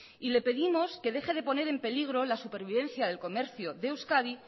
y le pedimos que deje de poner en peligro la supervivencia del comercio de euskadi